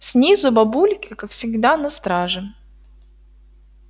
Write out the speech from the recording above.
снизу бабульки как всегда на страже